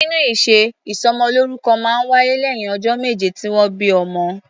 Nínú ìṣe, ìsọmọlórúkọ máa ń wáyé lẹ́yìn ọjọ́ méje tí wọ́n bí ọmọ.